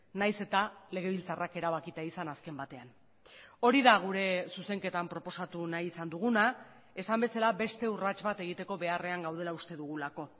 nahiz eta legebiltzarrak erabakita izan azken batean hori da gure zuzenketan proposatu nahi izan duguna esan bezala beste urrats bat egiteko beharrean gaudela uste dugulako